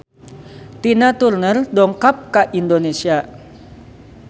Tina Turner dongkap ka Indonesia